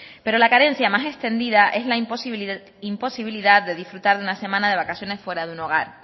pero la carencia más extendida es la imposibilidad de disfrutar de una semana de vacaciones fuera de un hogar